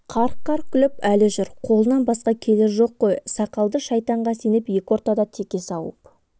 қарқ-қарқ күліп әлі жүр қолынан басқа келер жоқ қой сақалды шайтанға сеніп екі ортада теке сауып